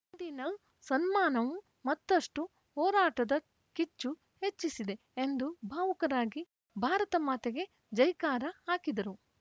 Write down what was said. ಇಂದಿನ ಸನ್ಮಾನವು ಮತ್ತಷ್ಟುಹೋರಾಟದ ಕಿಚ್ಚು ಹೆಚ್ಚಿಸಿದೆ ಎಂದು ಭಾವುಕರಾಗಿ ಭಾರತ ಮಾತೆಗೆ ಜೈಕಾರ ಹಾಕಿದರು